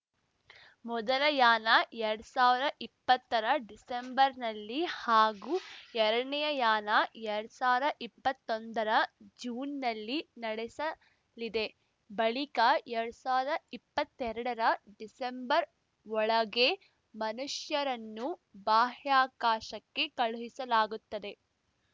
ಮೊದಲ ಯಾನ ಎರಡ್ ಸಾವ್ರ ಇಪ್ಪತ್ತರ ಡಿಸೆಂಬರ್‌ನಲ್ಲಿ ಹಾಗೂ ಎರ್ಡನೇ ಯಾನ ಎರಡ್ ಸಾವ್ರ ಇಪ್ಪತ್ತೊಂದರ ಜೂನ್‌ನಲ್ಲಿ ನಡೆಸಲಿದೆ ಬಳಿಕ ಎರಡ್ ಸಾವ್ರ ಇಪ್ಪತ್ತೆರಡರ ಡಿಸೆಂಬರ್‌ ಒಳಗೆ ಮನುಷ್ಯರನ್ನು ಬಾಹ್ಯಾಕಾಶಕ್ಕೆ ಕಳುಹಿಸಲಾಗುತ್ತದೆ